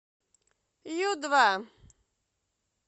ю два